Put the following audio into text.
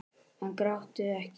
En grátum ekki.